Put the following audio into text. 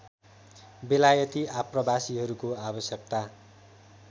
बेलायती आप्रवासीहरूको आवश्यकता